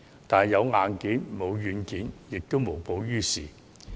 但有硬件，沒有軟件亦於事無補。